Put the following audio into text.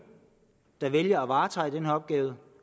der vælger at varetage den opgave og